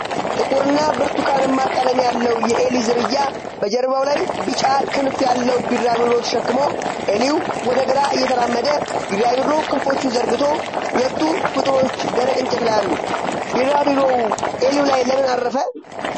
ጥቁርና ብርቱካንማ ቀለም ያለው የዔሊ ዝርያ፣ በጀርባው ላይ ቢጫ ክንፍ ያለው ቢራቢሮ ተሸክሞ። ዔሊው ወደ ግራ እየተራመደ፣ ቢራቢሮው ክንፎቹን ዘርግቶ። ሁለቱ ፍጡሮች ደረቅ እንጨት ላይ አሉ። ቢራቢሮው ዔሊው ላይ ለምን አረፈ?